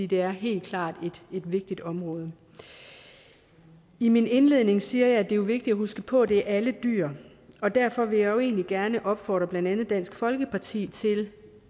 det er helt klart et vigtigt område i min indledning siger jeg at det jo er vigtigt at huske på at det er alle dyr og derfor vil jeg egentlig gerne opfordre blandt andet dansk folkeparti til